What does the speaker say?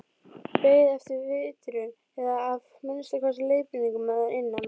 Beið eftir vitrun eða að minnsta kosti leiðbeiningum að innan.